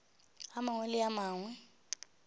a mangwe le a mangwe